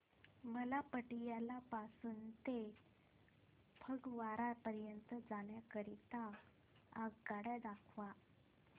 मला पटियाला पासून ते फगवारा पर्यंत जाण्या करीता आगगाड्या दाखवा